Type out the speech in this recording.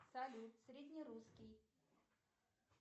салют среднерусский